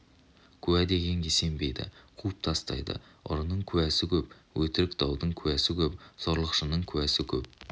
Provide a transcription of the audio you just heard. куә дегенге сенбейді қуып тастайды ұрының куәсі көп өтірік даудың куәсі көп зорлықшының куәсі көп